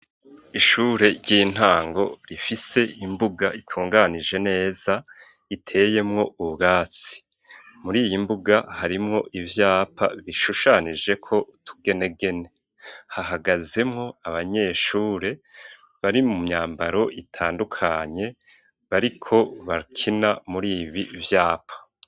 Ishure ry'intango rifise imbuga itunganije neza, iteyemwo ubwatsi. Muri iyi mbuga harimwo ivyapa bishushanijeko utugenegene. Hahagazemwo abanyeshure bari mu myambaro itandukanye bariko bakina muri ibi vyapa.